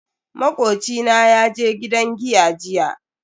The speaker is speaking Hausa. Makoci na yaje gidan giya jiya.